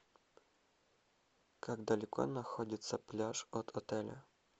как далеко находится пляж от отеля